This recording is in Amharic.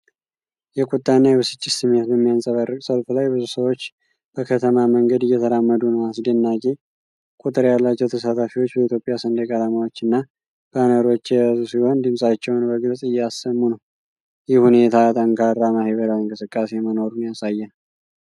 የቁጣና የብስጭት ስሜት በሚያንጸባርቅ ሰልፍ ላይ ብዙ ሰዎች በከተማ መንገድ እየተራመዱ ነው። አስደናቂ ቁጥር ያላቸው ተሳታፊዎች በኢትዮጵያ ሰንደቅ ዓላማዎችና ባነሮች የያዙ ሲሆን ድምፃቸውን በግልጽ እያሰሙ ነው። ይህ ሁኔታ ጠንካራ ማህበራዊ እንቅስቃሴ መኖሩን ያሳያል።